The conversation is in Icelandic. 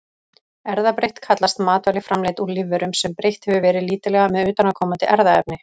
Erfðabreytt kallast matvæli framleidd úr lífverum, sem breytt hefur verið lítillega með utanaðkomandi erfðaefni.